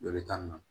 Dɔ bi taa nin na